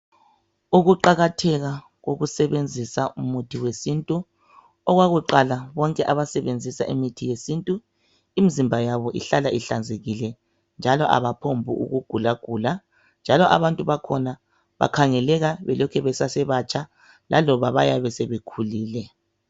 Ukuqakatheka kokusebenzisa umuthi wesintu. Okwakuqala, bonke abasebenzisa imithi yesintu imzimba yabo ihlala ihlanzekile, njalo abaphongkugulagula njalo abantu bakhona bakhangeleka belokhe besesebatsha laloba beyabe sebekhulile.